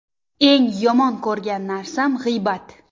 Eng yomon ko‘rgan narsam g‘iybat.